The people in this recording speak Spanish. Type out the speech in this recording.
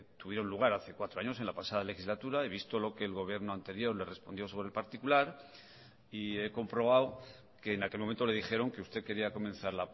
tuvieron lugar hace cuatro años en la pasada legislatura he visto lo que el gobierno anterior le respondió sobre el particular y he comprobado que en aquel momento le dijeron que usted quería comenzar